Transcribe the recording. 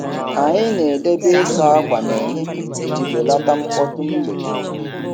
Anyị na-edebe ịsa ákwà nehihie iji belata mkpọtụ mgbede.